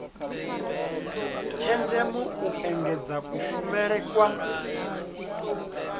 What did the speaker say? tshenzhemo u engedza kushumele kwa